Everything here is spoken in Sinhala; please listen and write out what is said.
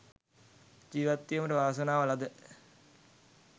ජීවත්වීමට වාසනාව ලද